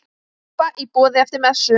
Súpa í boði eftir messu.